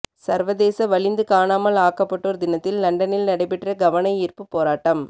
சர்வதேச வலிந்து காணாமல் ஆக்கப்பட்டோர் தினத்தில் லண்டனில் நடைபெற்ற கவனயீர்ப்பு போராட்டம்